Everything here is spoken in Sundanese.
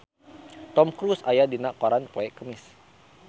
Tom Cruise aya dina koran poe Kemis